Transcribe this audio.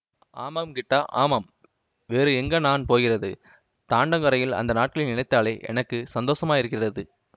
ஆமாம் கிட்டா ஆமாம் வேறு எங்கே நான் போகிறது தாண்டங்கோரையிலே அந்த நாட்களை நினைத்தாலே எனக்கு சந்தோஷமாயிருக்கிறது